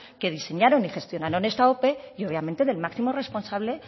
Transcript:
que diseñaron y gestionaron esta ope y obviamente del máximo responsable